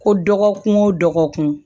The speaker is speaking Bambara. Ko dɔgɔkun o dɔgɔkun